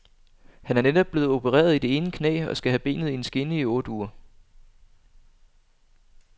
Han er netop blevet opereret i det ene knæ og skal have benet i en skinne i otte uger.